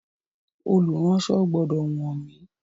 Olùránsọ gbọ́dọ̀ wọ́n mi.